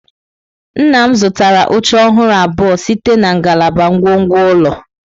Nna m zụtara oche ọhụrụ abụọ site na ngalaba ngwongwo ụlọ.